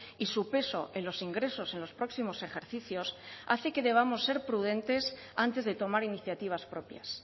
y su peso en los ingresos en los próximos ejercicios hace que debamos ser prudentes antes de tomar iniciativas propias